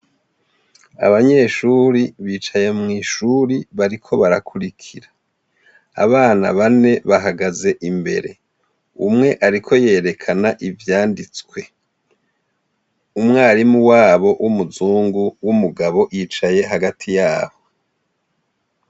Abanyeshuri bicaye mwishuri bariko barakwirikira abana bane bahagaze imbere umwe ariko yerekana ivyanditswe umwarimu wabo wumuzungu wumugabo yicaye hagati yabo